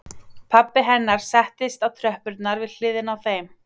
Pabbi hennar settist á tröppurnar við hliðina á þeim